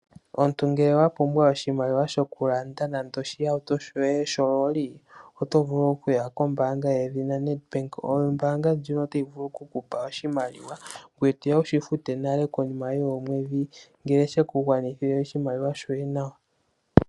Omuntu ngele wapumbwa oshimaliwa shokulanda nande oshihauto shoye she loli otovulu okuya kombaanga yedhina Nedbank. Ombaanga ndjika otayi vulu oku kupa oshimaliwa ngoye toya wushifute nale konima yoomwedhi ngele she kugwanithile shoye nawa.